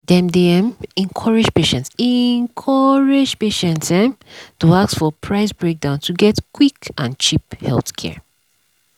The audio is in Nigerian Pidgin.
dem dey um encourage patients encourage patients um to ask for price breakdown to get quick and cheap healthcare.